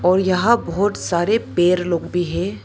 और यहां बहोत सारे पेड़ लोग भी हैं।